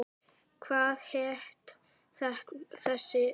Hvað hét þessi sveit?